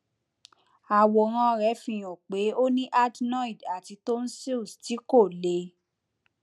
àwòrán rẹ fi hàn pé ó ní adenoid àti tonsils tí kò le